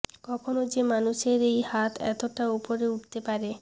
কখনো যে মানুষের এই হাত এতোটা উপরে উঠতে পারে